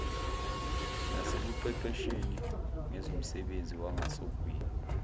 nasekuqeqesheni ngezomsebenzi wangasogwini